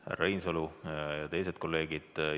Härra Reinsalu ja teised kolleegid!